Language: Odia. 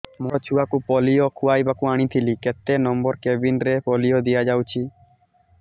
ମୋର ଛୁଆକୁ ପୋଲିଓ ଖୁଆଇବାକୁ ଆଣିଥିଲି କେତେ ନମ୍ବର କେବିନ ରେ ପୋଲିଓ ଦିଆଯାଉଛି